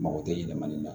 Mako tɛ yɛlɛma ne na